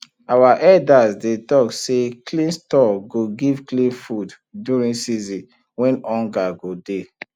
our elders dey talk say clean store go give clean food during season wey hunger go dey